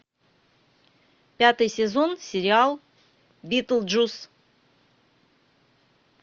пятый сезон сериал битлджус